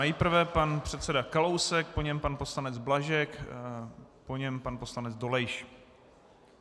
Nejprve pan předseda Kalousek, po něm pan poslanec Blažek, po něm pan poslanec Dolejš.